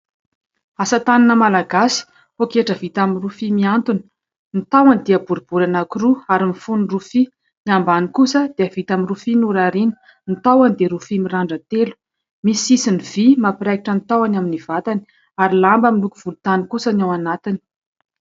Asa tanana malagasy, pôketra vita amin'ny rofia mihantona : ny tahony dia boribory anankiroa ary mifono rofia, ny ambany kosa dia vita amin'ny rofia norariana. Ny tahony dia rofia mirandran-telo. Misy sisiny vy mampiraikitra ny tahony amin'ny vatany ary lamba miloko volontany kosa ny ao anatiny.